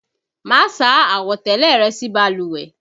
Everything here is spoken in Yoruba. Máa sá àwọ̀tẹ́lẹ̀ rẹ sí balùwẹ̀!